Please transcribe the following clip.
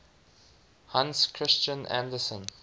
hans christian andersen